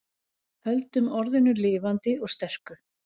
Höldum orðinu lifandi og sterku